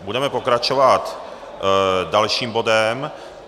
Budeme pokračovat dalším bodem.